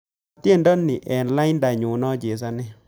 Konoor tyendo ni eng laindanyu nachesane